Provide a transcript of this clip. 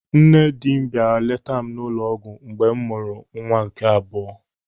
Nne dị bịara leeta m n'ụlọ ọgwụ mgbe m mụrụ nwa m nke abụọ.